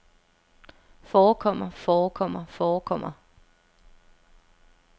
forekommer forekommer forekommer